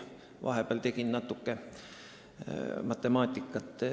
Ma vahepeal tegelesin natuke matemaatikaga.